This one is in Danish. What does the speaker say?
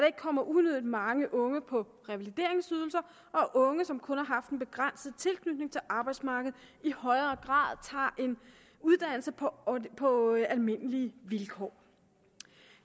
ikke kommer unødig mange unge på revalideringsydelser og at unge som kun har haft en begrænset tilknytning til arbejdsmarkedet i højere grad tager en uddannelse på på almindelige vilkår